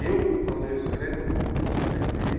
Eu, quando escrevo, procuro escrever